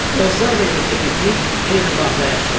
Bozlar və yekəpipik eyni bağda yaşayırdılar.